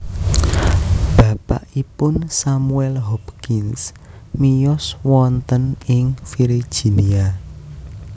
Bapakipun Samuel Hopkins miyos wonten ing Virginia